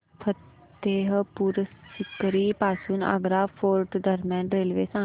फतेहपुर सीकरी पासून आग्रा फोर्ट दरम्यान रेल्वे सांगा